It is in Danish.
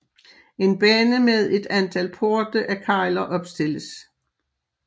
En bane med et antal porte af kegler opstilles